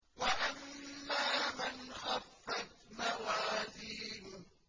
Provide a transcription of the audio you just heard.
وَأَمَّا مَنْ خَفَّتْ مَوَازِينُهُ